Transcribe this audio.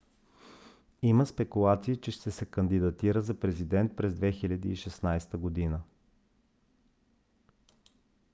има спекулации че ще се кандидатира за президент през 2016 г